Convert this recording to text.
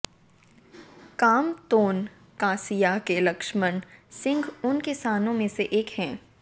कामतोन कासिया के लक्ष्मण सिंह उन किसानों में से एक हैं